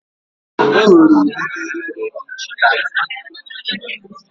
Enwere udidi nri di iche iche,